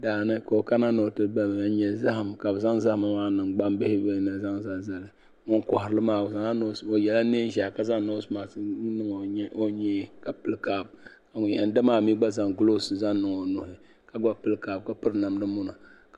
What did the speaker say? Daani ka o kana ni ti da nyuli zahim kabi zaŋ zali ni maani , gban bihi, n zaŋ zalizali. ŋun kohiri li maa yɛla neen' zɛhi ka zaŋ nɔɔse mat n niŋ onyee ka pili kap ŋun yan damaa mi zaŋ gloos n niŋ niŋ onuhi ka gba pili kap ka piri nam dimuna